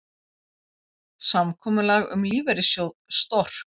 Samkomulag um lífeyrissjóð Stork